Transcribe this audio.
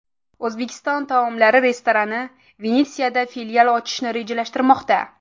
O‘zbek taomlari restorani Venetsiyada filial ochishni rejalashtirmoqda .